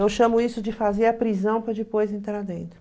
Eu chamo isso de fazer a prisão para depois entrar dentro.